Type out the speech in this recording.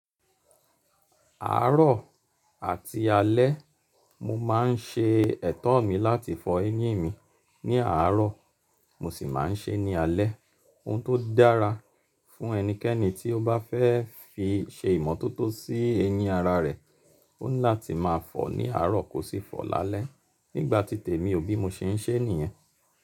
Àárọ̀ àti alẹ́, mo máa ń ṣe ẹ̀tọ́ mi láti fọ eyín mi ní àárọ̀, mo sì máa ń ṣe é ní alẹ́. Ohun tó dára fún ẹnikẹ́ni tí ó bá fẹ́ fi ṣe ìmọ́tótó sí eyín ara rẹ̀, ó ńlá ti máa fọ̀ ní àárọ̀ kò sì fọ̀ lálẹ́. Nígbà titẹ̀ mi ò bí mo ṣe ń ṣe ènìyàn.